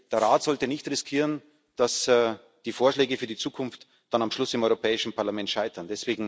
hat. Der Rat sollte nicht riskieren, dass die Vorschläge für die Zukunft dann am Schluss im Europäischen Parlament scheitern.